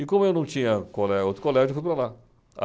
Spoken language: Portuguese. E como eu não tinha colé outro colégio, eu fui para lá.